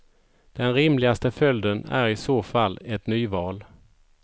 Den rimligaste följden är i så fall ett nyval.